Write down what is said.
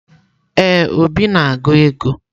Ee, Obi na-agụ ego.